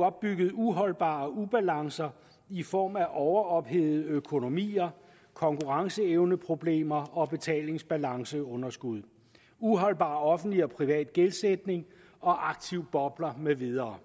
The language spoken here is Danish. opbygget uholdbare ubalancer i form af overophedede økonomier konkurrenceevneproblemer betalingsbalanceunderskud uholdbar offentlig og privat gældsætning og aktive bobler med videre